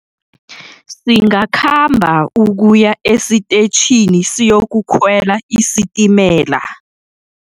Singakhamba ukuya esitetjhini siyokukhwela isitimela.